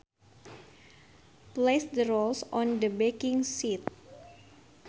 Place the rolls on the baking sheet